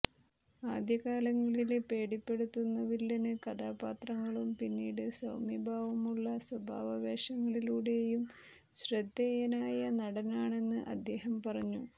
ആദ്യകാലങ്ങളില് പേടിപ്പെുത്തുന്ന വില്ലന് കഥാപാത്രങ്ങളും പിന്നീട് സൌമ്യഭാവമുള്ള സ്വഭാവ വേഷങ്ങളിലൂടെയും ശ്രദ്ധേയനായ നടനാണെന്ന് അദ്ദേഹം പറഞ്ഞു